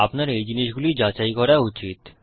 আপনার এই জিনিসগুলি যাচাই করা উচিত